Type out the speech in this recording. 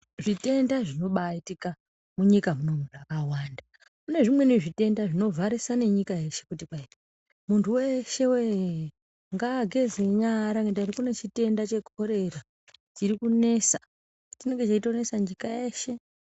Zvitenda zvinobaaitika, munyika munomu, zvakawanda. Kune zvimweni zvitenda zvinovharisa nenyika yeshe kuti kwai ,"Munhu weshewee, ngaageze nyara ngendaa yekuti kune chirwere chekholera chiri kunesa"Chinenge cheitonesa nyika yeshe.